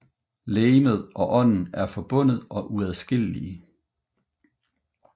Legemet og ånden er forbundet og uadskillelige